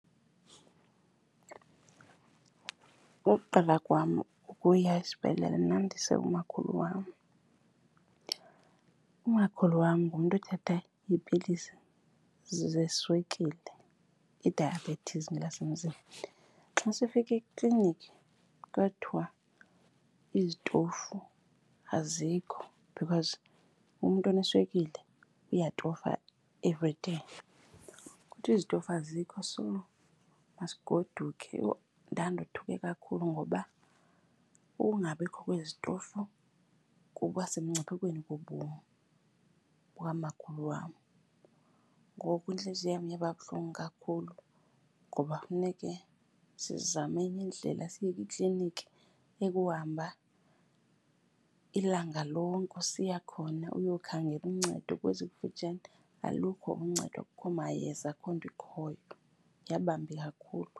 Ukuqala kwam ukuya esibhedlele ndandise umakhulu wam. Umakhulu wam ngumntu othatha iipilisi zeswekile, idayabhethisi ngelasemzini. Xa sifika ekliniki kwathiwa izitofu azikho because umntu oneswekile uyatofa everyday, kwathiwa izitofu azikho so masigodukeni. Yho ndandothuke kakhulu ngoba ukungabikho kwezitofu kukuba semngciphekweni wobomi bukamakhulu wam. Ngoku intliziyo yam yaba buhlungu kakhulu ngoba kufuneke sizame enye indlela siye kwikliniki ekuhamba ilanga lonke usiya khona uyokhangela uncedo. Kwezikufutshane alukho uncedo, akukho mayeza, akukho nto ikhoyo. Yabambi kakhulu.